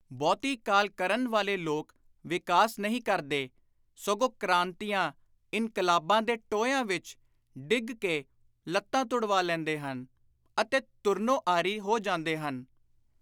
ਬਹੁਤੀ ਕਾਹਲ ਕਰਨ ਵਾਲੇ ਲੋਕ ਵਿਕਾਸ ਨਹੀਂ ਕਰਦੇ ਸਗੋਂ ਕ੍ਰਾਂਤੀਆਂ, ਇਨਕਲਾਬਾਂ ਦੇ ਟੋਇਆਂ ਵਿਚ ਡਿੱਗ ਕੇ ਲੱਤਾਂ ਤੁੜਵਾ ਲੈਂਦੇ ਹਨ ਅਤੇ ਤੁਰਨੋਂ ਆਰੀ ਹੋ ਜਾਂਦੇ ਹਨ।